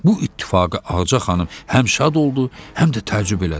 Bu ittifaqa Ağaca xanım həm şad oldu, həm də təəccüb elədi.